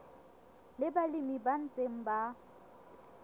le balemi ba ntseng ba